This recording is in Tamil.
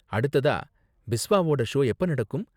அடுத்ததா பிஸ்வாவோட ஷோ எப்ப நடக்கும்?